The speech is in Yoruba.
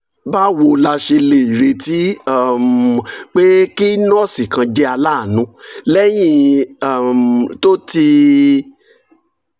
báwo la ṣe lè retí um pé kí nọ́ọ̀sì kan jẹ́ aláàánú lẹ́yìn um tó ti